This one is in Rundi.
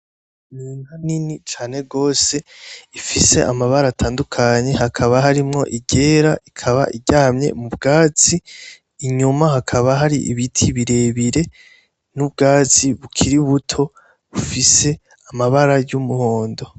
Inka nini cane gose ifise amabara atandukanye hakaba harimwo iryera ikaba iryamye muvyatsi inyuma hakaba hari ibiti birebire nubwatsi bukiri buto bufise amabara yumuhondo.